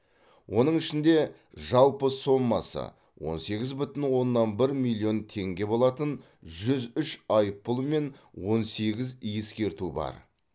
оның ішінде жалпы соммасы он сегіз бүтін оннан бір миллион теңге болатын жүз үш айыппұл мен он сегіз ескерту бар